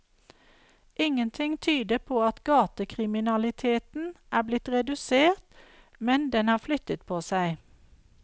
Ingenting tyder på at gatekriminaliteten er blitt redusert, men den har flyttet på seg.